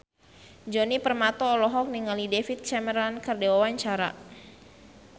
Djoni Permato olohok ningali David Cameron keur diwawancara